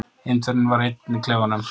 Indverjinn var einn í klefanum.